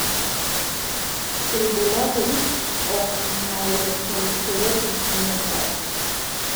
ilbulabul o myeloproliferative neoplasms.